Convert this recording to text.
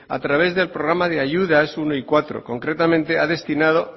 a través del programa de ayudas uno y cuatro concretamente ha destinado